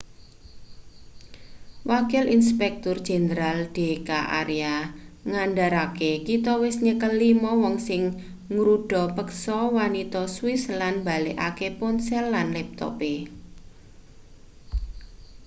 wakil inspektur jenderal d k arya ngandharake kita wis nyekel lima wong sing ngruda peksa wanita swiss lan mbalekake ponsel lan laptope